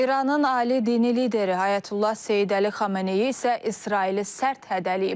İranın ali dini lideri Ayətullah Seyid Əli Xameneyi isə İsraili sərt hədələyib.